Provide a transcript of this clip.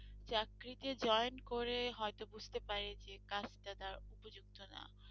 চাকরিতে joint করে হয়তো বুঝতে পারে যে কাজটা তার উপযুক্ত না।